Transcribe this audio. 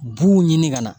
B'u ɲini ka na